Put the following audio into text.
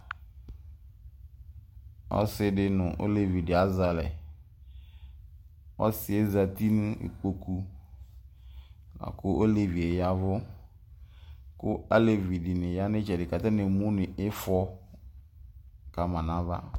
ɔsɩɗɩ nʊ ɔleʋɩɗɩ azɛalɛ, ɔsɩɛ zatɩnʊ ɩƙpoƙʊ mɛ oleʋɩe ta ɔƴɛʋʊ aleʋɩ ɛɗɩnɩ aƴanʊ nʊ ɩtseɗɩ mɛ atanɩemʊnʊ ɩƒɔ nʊ aʋa